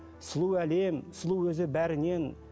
сұлу әлем сұлу өзі бәрінен